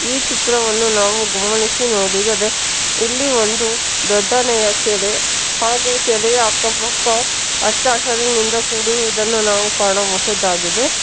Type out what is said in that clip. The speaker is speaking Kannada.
ಈ ಚಿತ್ರವನ್ನು ನಾವು ಗಮನಿಸಿ ನೋಡಿದರೆ ಇಲ್ಲಿ ಒಂದು ದೊಡ್ಡನೆಯ ಕೆರೆ ಹಾಗೂ ಕೆರೆಯ ಅಕ್ಕ ಪಕ್ಕ ಹಚ್ಚ ಹಸಿರಿನಿಂದ ಕೂಡಿರುವುದನ್ನು ನಾವು ಕಾಣಬಹುದಾಗಿದೆ.